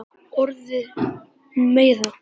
Orðin meiða.